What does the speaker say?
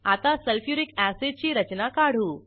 आता सल्फ्युरिक अॅसिडची रचना काढू